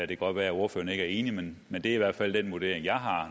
kan godt være at ordføreren ikke er enig men det er i hvert fald den vurdering jeg har